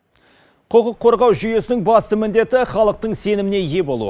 құқық қорғау жүйесінің басты міндеті халықтың сеніміне ие болу